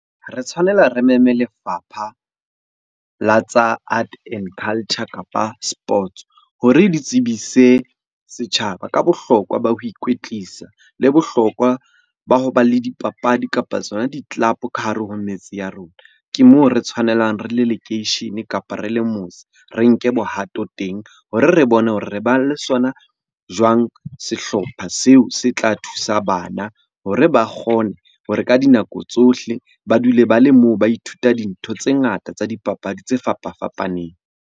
Re tshwanela re meme lefapha la art and culture, kapa sports hore di tsebise setjhaba ka bohlokwa ba ho ikwetlisa, le bohlokwa ba ho ba le dipapadi kapa tsona di-club ka hare ho metse ya rona. Ke moo re tshwanelang re le lekeishene, kapa re le motse. Re nke bohato teng hore re bone hore re ba le sona jwang sehlopha seo se tla thusa bana hore ba kgone hore ka dinako tsohle ba dule ba le moo. Ba ithuta dintho tse ngata tsa dipapadi tse fapafapaneng.